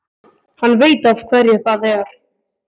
Hann veit af hverju það er.